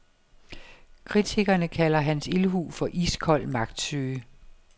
Kritikerne kalder hans ildhu for iskold magtsyge.